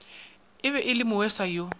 be e le moesa yo